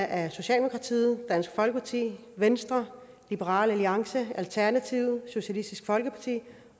af socialdemokratiet dansk folkeparti venstre liberal alliance alternativet socialistisk folkeparti